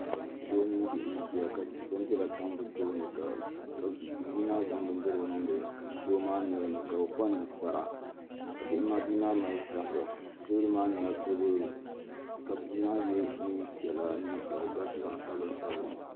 Doo mini bihi n ʒiya ka bindira tam bi tooni ka bia maa zaŋ bindirigu niŋdi doo maa nolini ka o kpa ninkpara ka bia maa mali zabiri teebuli maa nyɛla teebuli ka bia maa yɛ neen piɛla ka di garisi zaɣ sabila